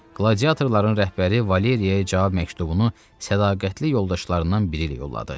Qladiatorların rəhbəri Valeriyə cavab məktubunu sədaqətli yoldaşlarından biri ilə yolladı.